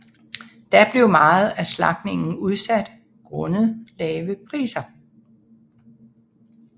Da blev meget af slagtningen udsat grundet lave priser